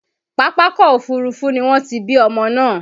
Pápákọ̀ Òfurufú ni wọ́n ti bí ọmọ náà.